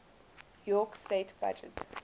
york state budget